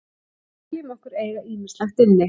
Við teljum okkur eiga ýmislegt inni.